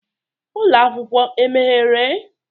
Ụlọ akwụkwọ emeghere?